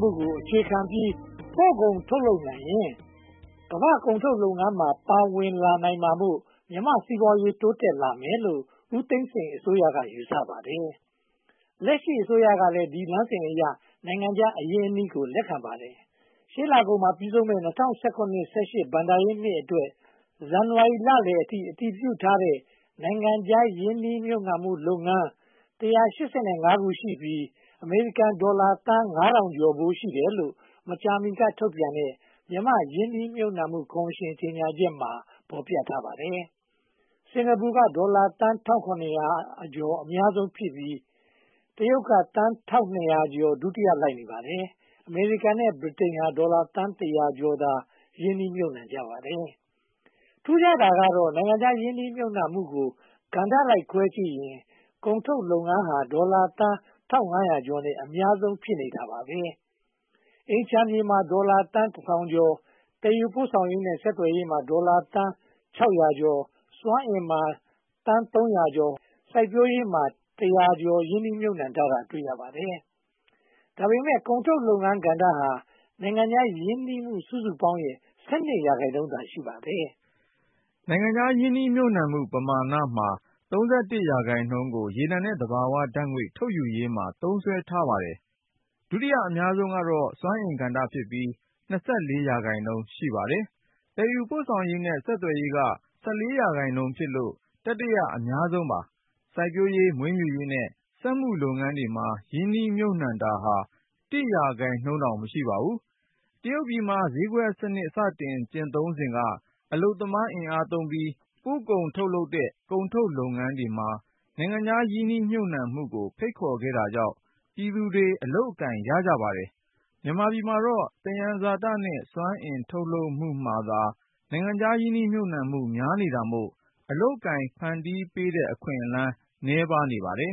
မှုကို အခြေခံပြီး ပို့ကုန်ထုတ်လုပ်နိုင်ရင် ကမ္ဘာ့ကုန်ထုတ်လုပ်ငန်းမှာ ပါဝင်လာနိုင်မှာမို့ မြန်မာ့စီးပွားရေး တိုးတက်လာမယ်လို့ ဦးသိန်းစိန်အစိုးရက ယူဆပါတယ်။ လက်ရှိ အစိုးရကလည်း ဒီလမ်းစဉ်အရ နိုင်ငံခြားအရင်းအနှီးကို လက်ခံပါတယ်။ ရှေ့လကုန်မှာ ပြီးဆုံးမယ့် ၂၀၁၇-၁၈ ဘဏ္ဍာနှစ်အတွက် ဇန်နဝါရီလလယ်အထိ အတည်ပြုထားတဲ့ နိုင်ငံခြားရင်းနှီးမြုပ်နံှမှုလုပ်ငန်း (၁၈၅) ခုရှိပြီး အမေရိကန်ဒေါ်လာသန်း (၅၂၃၆) ဖိုး ရှိတယ်လို့ မကြာမီကထုတ်ပြန်တဲ့ မြန်မာ့ရင်းနှီးမြုပ်နံှမှုကော်မရှင် ကြေညာချက်မှာ ဖော်ပြထားပါတယ်။ စင်္ကာပူက ဒေါ်လာသန်း (၁၇၂၆) အများဆုံးမြုပ်နံှပြီး၊ တရုတ်က သန်း (၁၂၉၀) နဲ့ ဒုတိယ လိုက်နေပါတယ်။ အမေရိကန်နဲ့ ဗြိတိန်ဟာ ဒေါ်လာသန်း တစ်ရာကျော်သာ ရင်းနှီးကြပါတယ်။ ထူးခြားတာကတော့ နိုင်ငံခြားရင်းနှီးမြုပ်နံှမှုကို ကဏ္ဍခွဲကြည့်လိုက်ရင် ကုန်ထုတ်လုပ်ငန်းဟာ ဒေါ်လာသန်း (၁၅၅၄) ကျော်နဲ့ အများဆုံး ဖြစ်နေပါတယ်။ အိမ်ခြံမြေမှာ ဒေါ်လာသန်း (၁၀၆၂)၊ သယ်ယူပို့ဆောင်ရေးနဲ့ ဆက်သွယ်ရေးမှာ ဒေါ်လာသန်း (၆၅၃)၊ စွမ်းအင်မှာ ဒေါ်လာသန်း (၃၆၂)၊ ဟိုတယ်နဲ့ ခရီးသွားမှာ ဒေါ်လာသန်း (၁၅၄)၊ စိုက်ပျိုးရေးမှာ (၁၃၁) သန်းတို့ ရင်းနှီးမြုပ်နံှထားတာကို တွေ့ရပါတယ်။ ဒါပေမဲ့ ကုန်ထုတ်လုပ်ငန်းကဏ္ဍဟာ နိုင်ငံခြားရင်းနှီးမှု စုစုပေါင်းရဲ့ (၁၂) ရာခိုင်နှုန်းသာ ရှိပါတယ်။ နိုင်ငံခြားရင်းနှီးမြုပ်နံှမှု ပမာဏမှာ (၃၁) ရာခိုင်နှုန်းကို ရေနံနဲ့ သဘာဝဓါတ်ငွေ့ ထုတ်ယူရေးမှာ သုံးစွဲထားပါတယ်။ ဒုတိယအများဆုံးက စွမ်းအင်ကဏ္ဍဖြစ်ပြီး (၂၄) ရာခိုင်နှုန်း ရှိပါတယ်။ သယ်ယူပို့ဆောင်ရေးနဲ့ ဆက်သွယ်ရေးက (၁၄) ရာခိုင်နှုန်းဖြစ်ပြီး တတိယအများဆုံး ဖြစ်ပါတယ်။ စိုက်ပျိုးရေး၊ မွေးမြူးရေးနဲ့ စက်မှုလုပ်ငန်းတွေမှာ ရင်းနှီးမြုပ်နံှတာဟာ (၁) ရာခိုင်နှုန်းတောင် မရှိပါဘူး။ တရုတ်ပြည်မှာ ဈေးကွက်စနစ် စတင်ကျင့်သုံးစဉ်က အလုပ်သမားအင်အားသုံးပြီး၊ ပို့ကုန်ထုတ်လုပ်တဲ့ ကုန်ထုတ်လုပ်ငန်းတွေမှာ နိုင်ငံခြားရင်းနှီးမြုပ်နံှမှုကို ဖိတ်ခေါ်ခဲ့တာကြောင့် ပြည်သူတွေ အလုပ်အကိုင်ရကြပါတယ်။ မြန်မာပြည်မှာတော့ သယံဇာတနဲ့ စွမ်းအင်ထုတ်ယူမှုမှာသာ နိုင်ငံခြားရင်းနှီးမြုပ်နံှမှု များနေတာမို့ အလုပ်အကိုင် ဖန်တီးပေးတဲ့ အခွင့်အလမ်း နည်းပါးနေရပါတယ်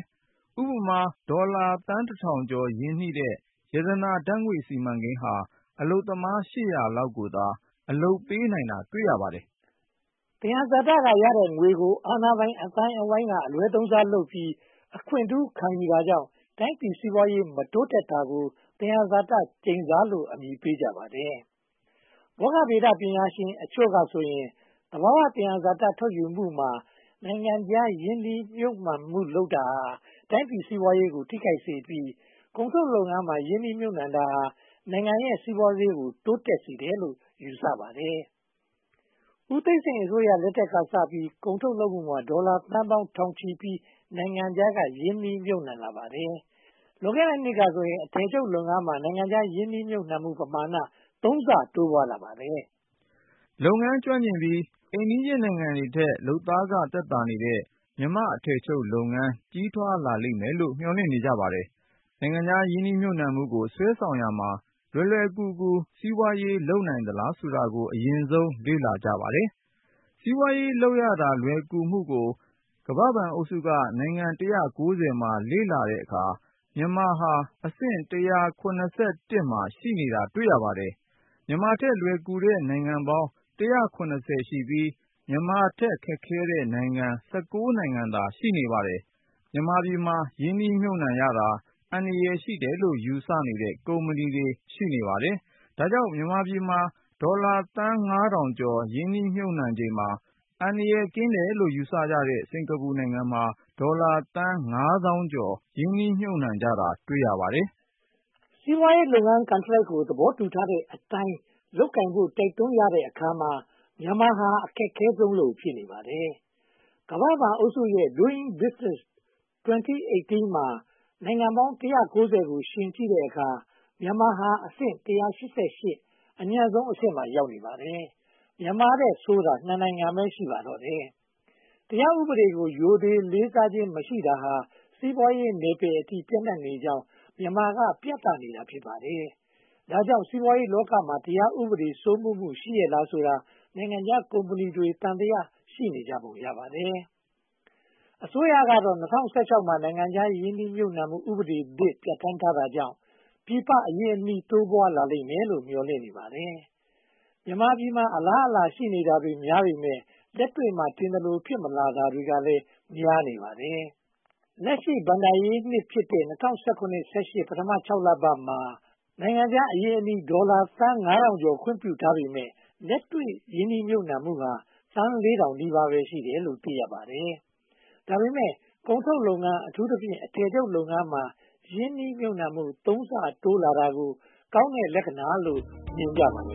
။ ဥပမာ ဒေါ်လာသန်းတစ်ထောင်ကျော် ရင်းနှီးထားတဲ့ ရတနာဓါတ်ငွေ့စီမံကိန်းဟာ အလုပ်သမား (၈၀၀) လောက်ကိုသာ အလုပ်ပေးနိုင်တာ တွေ့ရပါတယ်။ သယံဇာတက ရတဲ့ငွေကို အာဏာပိုင်အသိုင်းအဝိုင်းက အလွဲသုံးစားလုပ်ပြီး အခွင့်ထူးခံယူတာကြောင့် တိုင်းပြည်စီးပွားရေး မတိုးတက်တာကို ‘သယံဇာတကျိန်စာ’ လို့လည်း အမည်ပေးကြပါတယ်။ ဘောဂါပညာရှင် Laura Alfrao က သဘာဝသယံဇာတ ထုတ်ယူမှုမှာ နိုင်ငံခြားရင်းနှီးမြုပ်နံှမှုလုပ်တာဟာ တိုင်းပြည်စီးပွားရေးကို ထိခိုက်စေပြီး ကုန်ထုတ်လုပ်ငန်းမှာ ရင်းနှီးမြုပ်နံှတာဟာ နိုင်ငံရဲ့ စီးပွားရေးကို တိုးတက်စေတယ်လို့ ယူဆပါတယ်။ ဦးသိန်းစိန်အစိုးရလက်ထက်ကစပြီး ကုန်ထုတ်လုပ်မှုမှာ ဒေါ်လာသန်းပေါင်းထောင်ချီပြီး နိုင်ငံခြားက ရင်းနှီးမြုပ်နံှလာပါတယ်။ လွန်ခဲ့တဲ့နှစ်ကဆိုရင် အထည်ချုပ်လုပ်ငန်းမှာ နိုင်ငံခြားရင်းနှီးမြုပ်နံှမှု ပမာဏ သုံးဆတိုးပွားလာပါတယ်။ လုပ်ငန်းကျွမ်းကျင်ပြီး အိမ်နီးချင်းနိုင်ငံတွေထက် အလုပ်သမားခ သက်သာနေတဲ့ မြန်မာ့အထည်ချုပ်လုပ်ငန်း ကြီးထွားလာလိမ့်မယ်လို့ မျှော်လင့်နေကြပါတယ်။ နိုင်ငံခြားရင်းနှီးမြုပ်နံှမှုကို ဆွဲဆောင်ရာမှာ လွယ်လွယ်ကူကူ စီးပွားရေးလုပ်နိုင်သလားဆိုတာကို အရင်ဆုံးလေ့လာကြပါတယ်။ စီးပွားရေး လုပ်ကိုင်ရတာ လွယ်ကူမှုကို ကမ္ဘာ့ဘဏ်အုပ်စုက နိုင်ငံ (၁၉၀) မှာ လေ့လာတဲ့အခါ မြန်မာ့အဆင့်ဟာ (၁၇၁) မှာ ရှိနေတာ တွေ့ရပါတယ်။ မြန်မာထက် လွယ်ကူတဲ့ နိုင်ငံပေါင်း (၁၇၀) ရှိပြီး မြန်မာနိုင်ငံထက်ခက်တာ (၁၉) နိုင်ငံသာ ရှိနေပါတယ်။ မြန်မာပြည်မှာ ရင်းနှီးမြုပ်နံှရတာ အန္တရာယ်ရှိနေတယ်လို့ ယူဆနေတဲ့ ကုမ္ပဏီတွေ ရှိနေပါတယ်။ ဒါကြောင့် မြန်မာပြည်မှာ ဒေါ်လာသန်းငါးထောင်ကျော် ရင်းနှီးမြုပ်နံှချိန်မှာ အန္တရာယ်ကင်းတယ်လို့ ယူဆကြတဲ့ စင်္ကာပူမှာ ဒေါ်လာသန်း ငါးသောင်းကျော် ရင်းနှီးမြုပ်နံှကြတာ တွေ့ရပါတယ်။ စီးပွားရေးလုပ်ငန်းကန်ထရိုက်ကို သဘောတူတဲ့အတိုင်း လုပ်ကိုင်ဖို့ တိုက်တွန်းရတဲ့အခါမှာ မြန်မာဟာ အခက်ခဲဆုံးလို ဖြစ်နေပါတယ်။ ကမ္ဘာ့ဘဏ်အုပ်စုရဲ့ Doing Business 2018 မှာ နိုင်ငံ (၁၉၀) ကို နှိုင်းယှဉ်ကြည့်တဲ့အခါ မြန်မာဟာအဆင့် (၁၈၈) အညံ့ဆုံးအဆင့်မှာ ရောက်နေပါတယ်။ မြန်မာထက်ဆိုးတာ နှစ်နိုင်ငံပဲ ရှိပါတော့တယ်။ တရားဥပဒေကို ရိုသေလေးစားခြင်းမရှိတာဟာ စီးပွားရေးနယ်ပယ်အထိ ပြန့်နံှ့နေကြောင်း မြန်မာက ပြသနေတာ ဖြစ်ပါတယ်။ ဒါကြောင့် စီးပွားရေးလောကမှာ တရားဥပဒေ စိုးမိုးမှု ရှိရဲ့လားဆိုတာ နိုင်ငံခြားကုမ္ပဏီတွေ သံသယရှိနေကြပုံ ရပါတယ်။ အစိုးရကတော့ ၂၀၁၆ မှာ နိုင်ငံခြားရင်းနှီးမြုပ်နံှမှု ဥပဒေသစ် ပြဌာန်းထားတာကြောင့် ပြည်ပအရင်းအနှီးတွေ တိုးပွားလာလိမ့်မယ်လို့ မျှော်လင့်နေပါတယ်။ မြန်မာပြည်မှာ အလားအလာ ရှိတာတွေ များနေပေမယ့် လက်တွေ့မှာ ထင်သလို ဖြစ်မလာတာတွေကလည်း များနေပါတယ်။ လက်ရှိ ဘဏ္ဍာနှစ်ဖြစ်တဲ့ ၂၀၁၇-၁၈ ပထမ (၆) လပတ်မှာ နိုင်ငံခြားအရင်းအနှီး ဒေါ်လာသန်း ငါးထောင်ကျော် ခွင့်ပြုထားပေမယ့် လက်တွေ့ရင်းနှီးမြုပ်နံှမှုက သန်း လေးထောင်နီးပါးပဲ ရှိတယ်လို့ သိရပါတယ်။ ဒါပေမဲ့ ကုန်ထုတ်လုပ်ငန်း အထူးသဖြင့် အထည်ချုပ်လုပ်ငန်းမှာ ရင်းနှီးမြုပ်နံှမှု သုံးဆတိုးလာတာကို ကောင်းတဲ့လက္ခဏာလို မြင်ကြပါတယ်